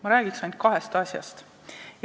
Ma räägiksin ainult kahest asjast.